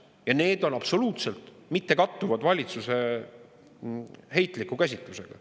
Ja need on absoluutselt mittekattuvad valitsuse heitliku käsitlusega.